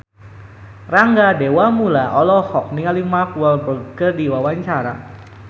Rangga Dewamoela olohok ningali Mark Walberg keur diwawancara